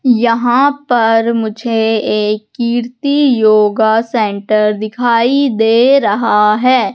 यहां पर मुझे एक कीर्ति योगा सेंटर दिखाई दे रहा है।